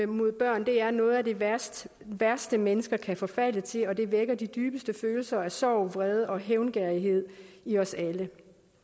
mod børn er noget af det værste værste mennesker kan forfalde til og det vækker de dybeste følelser af sorg vrede og hævngerrighed i os alle